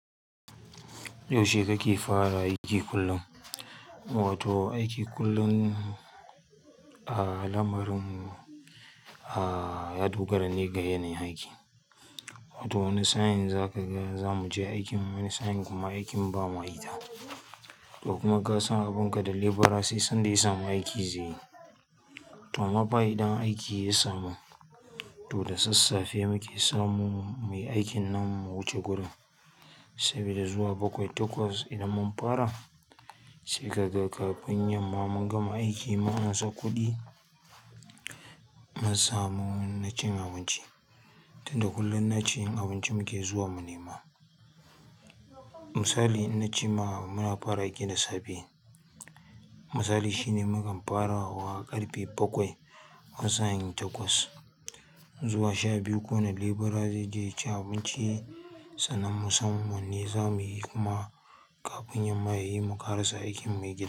Yaushe kake fara aiki kullum? Wato aiki kullum, ah, lamarin, ah, ya dogara ne ga yanayin aiki. Wato wani sa'in za ka ga za mu je aiki wani sa'in kuma aikin ba ma ita. To kuma kasa abun ka da labourer sai sanda ya samu aiki zai yi. To ama fa idan aiki ya samu, to da sassafe muke samu mai aikin nan wuce gudu, saboda zuwa bakwai takwas idan mun fara sai ka ga kafin yamman mun gama aiki mun ansa kuɗi, mun samu na cin abinci. Tunda kullum na cin abinci muke zuwa mu nema. Misali in na ci ma, muna fara aiki da safe, misali shine mukan fara wa ƙarfe bakwai wani sa'in takwas. Zuwa sha biyu ko na labourer zai je ci abinci, sannan musamman ne za muyi kuma kafin yamman ya yi mu ƙarshe aikin mu ya gyaru.